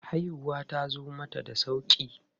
Haihuwar tazo mata da sauƙi.